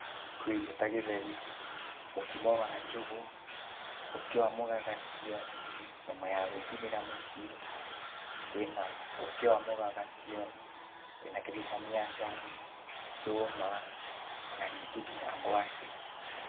Kwĩ irio ta gĩtheri, mũkimo wa njũgũ, ũkĩ wa mũgagatio, nyama ya gwĩcinĩra mũciĩ, kwĩna ũkĩ wa mũgagatio, kwĩna kĩndũ ta mĩanga, ndũma, ona ningĩ nginya ngwacĩ.